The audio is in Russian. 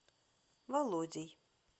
володей